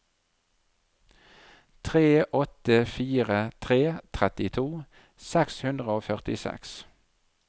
tre åtte fire tre trettito seks hundre og førtiseks